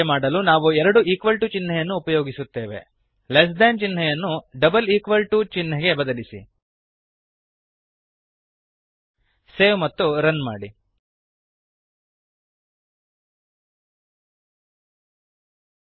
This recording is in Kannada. ಹಾಗೆ ಮಾಡಲು ನಾವು ಎರಡು ಈಕ್ವಲ್ ಟು ಚಿಹ್ನೆಯನ್ನು ಉಪಯೋಗಿಸುತ್ತೇವೆ ಲೆಸ್ ಥಾನ್ ಲೆಸ್ ದೇನ್ ಚಿಹ್ನೆಯನ್ನು double equal to double equal to ಚಿಹ್ನೆಗೆ ಬದಲಿಸಿ